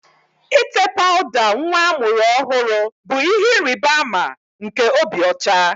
Ite pawuda nwa amụrụ ọhụrụ bụ ihe ịrịba ama nke obi ocha